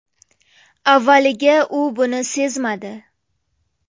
Avvaliga u buni sezmadi.